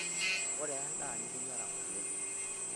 Koree endaa niteyiara ng'ole?